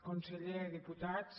conseller diputats